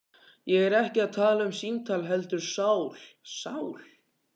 Ég er ekki að tala um símtal heldur sál. sál